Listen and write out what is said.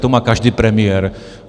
To má každý premiér.